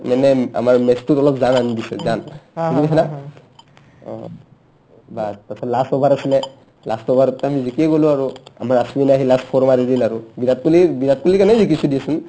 মানে আমাৰ match টোত অলপ জান আনি দিছে জান বুজি পাইছানে তাৰপিছত last last over আছিলে last over ত আমি জিকিয়ে গ'লো আৰু আমাৰ আশ্বিনে আহি last four মাৰি দিল আৰু বিৰাট কোহলি বিৰাট কোহলিৰ কাৰণে জিকিছো দিয়াচোন